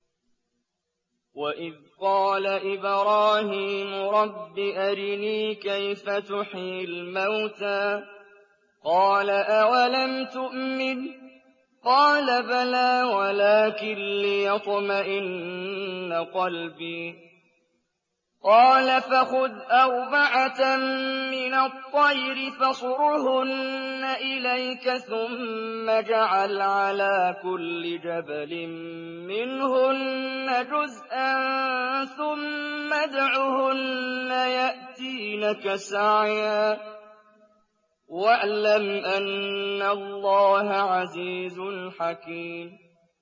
وَإِذْ قَالَ إِبْرَاهِيمُ رَبِّ أَرِنِي كَيْفَ تُحْيِي الْمَوْتَىٰ ۖ قَالَ أَوَلَمْ تُؤْمِن ۖ قَالَ بَلَىٰ وَلَٰكِن لِّيَطْمَئِنَّ قَلْبِي ۖ قَالَ فَخُذْ أَرْبَعَةً مِّنَ الطَّيْرِ فَصُرْهُنَّ إِلَيْكَ ثُمَّ اجْعَلْ عَلَىٰ كُلِّ جَبَلٍ مِّنْهُنَّ جُزْءًا ثُمَّ ادْعُهُنَّ يَأْتِينَكَ سَعْيًا ۚ وَاعْلَمْ أَنَّ اللَّهَ عَزِيزٌ حَكِيمٌ